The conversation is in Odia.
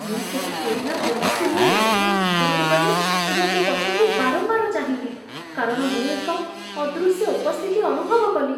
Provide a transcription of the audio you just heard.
ମୁଁ ସେହି ପୁରୁଣା ଜନଶୂନ୍ୟ ଲାଇଟ୍‌ହାଉସ୍ ଭିତରକୁ ଗଲି, ଏବଂ ମୋ ପଛକୁ ବାରମ୍ବାର ଚାହିଁଲି କାରଣ ମୁଁ ଏକ ଅଦୃଶ୍ୟ ଉପସ୍ଥିତି ଅନୁଭବ କଲି।